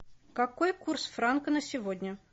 какой курс франка на сегодня